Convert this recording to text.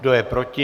Kdo je proti?